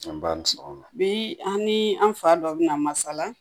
Anba bi an ni an fa dɔ bɛna masala